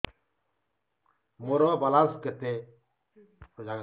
ମୋର ବାଲାନ୍ସ କେତେ